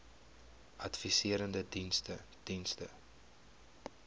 adviserende diens diens